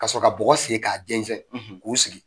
Ka sɔrɔ ka bɔgɔ sen k'a gesƐn k'u sigi.